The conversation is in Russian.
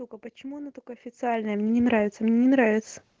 только почему она так официально мне не нравится мне не нравится